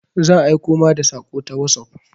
Zan aiko ma da saƙo ta wosof.